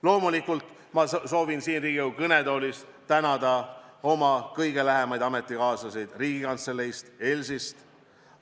Loomulikult soovin ma siit Riigikogu kõnetoolist tänada oma kõige lähemaid ametikaaslasi Riigikantseleist ja ELS-ist.